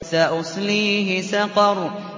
سَأُصْلِيهِ سَقَرَ